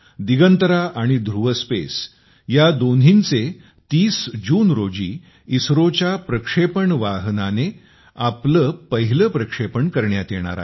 दिगंतरा आणि ध्रुव स्पेस या दोन्हींचे 30 जून रोजी इस़्रोच्या प्रक्षेपण वाहनाने आपले पहिले प्रक्षेपण करण्यात येणार आहे